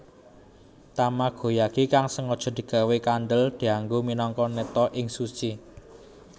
Tamagoyaki kang sengaja digawé kandhel dianggo minangka neta ing sushi